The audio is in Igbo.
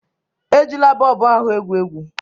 Ejila bọlbụ ahu egwu egwu!